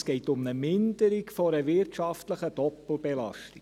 Es geht um die Minderung einer wirtschaftlichen Doppelbelastung.